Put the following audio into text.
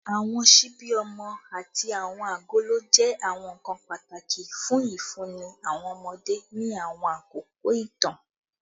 Awọn ṣibi ọmọ ati awọn agolo jẹ awọn nkan pataki fun ifunni awọn ọmọde ni awọn akoko itan